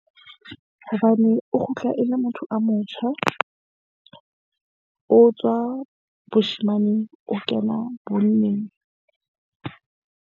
Hobane o kgutla e le motho a motjha , o tswa boshemaneng, o kena bonneng.